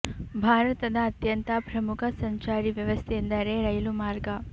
ಭಾರತ ದ ಅತ್ಯಂತ ಪ್ರಮುಖ ಸಂಚಾರಿ ವ್ಯವಸ್ಥೆ ಎಂದರೆ ರೈಲು ಮಾರ್ಗ